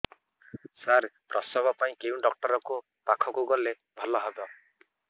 ସାର ପ୍ରସବ ପାଇଁ କେଉଁ ଡକ୍ଟର ଙ୍କ ପାଖକୁ ଗଲେ ଭଲ ହେବ